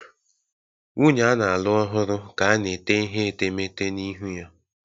Nwunye a na-alụ ọhụrụ ka na-ete ihe etemeete na ihu ya